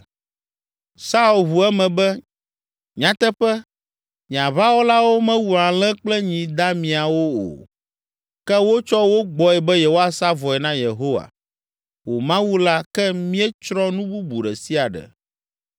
Saul ʋu eme be, “Nyateƒe, nye aʋawɔlawo mewu alẽ kple nyi damiawo o, ke wotsɔ wo gbɔe be yewoasa vɔe na Yehowa, wò Mawu la ke míetsrɔ̃ nu bubu ɖe sia ɖe.”